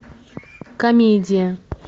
комедия